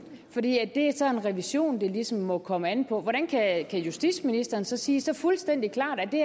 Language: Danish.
for det er så en revision det ligesom må komme an på hvordan kan justitsministeren så sige så fuldstændig klart at det